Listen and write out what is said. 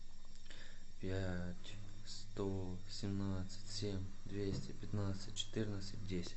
пять сто семнадцать семь двести пятнадцать четырнадцать десять